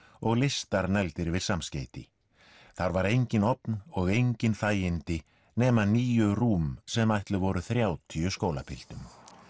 og listar negldir yfir samskeyti þar var enginn ofn og engin þægindi nema níu rúm sem ætluð voru þrjátíu skólapiltum